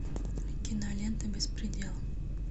кинолента беспредел